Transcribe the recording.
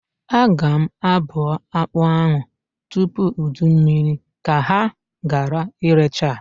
Aga m abụa akpa ahụ tupu ụdụ mmiri ka ha gara irecha.